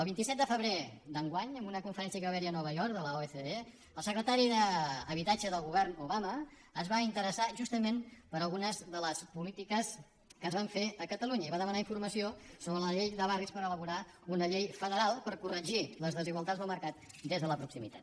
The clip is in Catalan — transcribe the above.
el vint set de febrer d’enguany en una conferència que hi va haver a nova york de l’ocde el secretari d’habitatge del govern obama es va interessar justament per algunes de les polítiques que es van fer a catalunya i va demanar informació sobre la llei de barris per elaborar una llei federal per corregir les desigualtats del mercat des de la proximitat